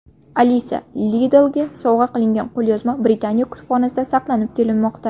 Alisa Liddellga sovg‘a qilingan qo‘lyozma Britaniya kutubxonasida saqlanib kelinmoqda.